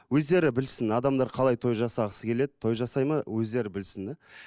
өздері білсін адамдар қалай той жасағысы келеді той жасайды ма өздері білсін де